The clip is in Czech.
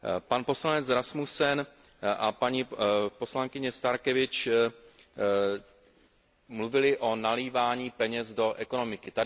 Pan poslanec Rasmussen a paní poslankyně Starkevičiūtė mluvili o nalévání peněz do ekonomiky.